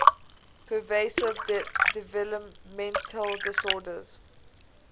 pervasive developmental disorders